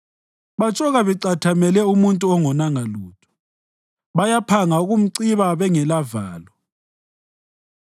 Batshoka becathemele umuntu ongonanga lutho; bayaphanga ukumciba bengelavalo.